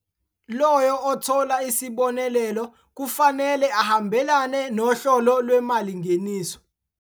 Loyo othola isibonelelo kufanele ahambelane nohlolo lwemalingeniso.